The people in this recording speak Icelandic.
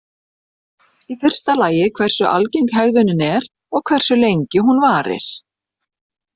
Í fyrsta lagi hversu algeng hegðunin er og hversu lengi hún varir.